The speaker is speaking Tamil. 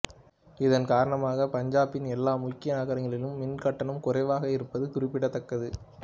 இதன் காரணமாக பஞ்சாப்பின் எல்லா முக்கிய நகரங்களிலும் மின் கட்டணம் குறைவாக இருப்பது குறிப்பிடத்தக்கது